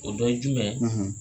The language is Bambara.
O dɔ ye jumɛn ye,